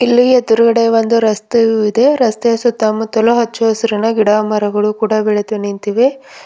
ಇಲ್ಲಿ ಎದ್ರುಗಡೆ ಒಂದು ರಸ್ತೆಯು ಇದೆ ರಸ್ತೆಯ ಸುತ್ತಮುತ್ತಲು ಹಚ್ಚಹಸುರಿನ ಗಿಡಮರಗಳು ಬೆಳೆದು ನಿಂತಿವೆ.